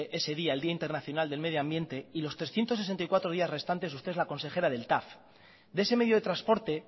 ese día el día internacional del medio ambiente y los trescientos sesenta y cuatro días restantes usted es la consejera del tav de ese medio de transporte